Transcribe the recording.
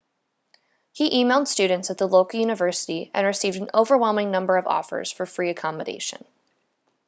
he emailed students at the local university and received an overwhelming number of offers for free accommodation